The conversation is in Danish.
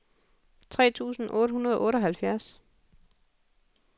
tre tusind otte hundrede og otteoghalvfjerds